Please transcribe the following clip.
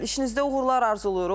İşinizdə uğurlar arzulayırıq.